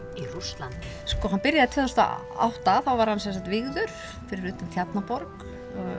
í Rússlandi sko hann byrjaði tvö þúsund og átta þá var hann sem sagt vígður fyrir utan Tjarnarborg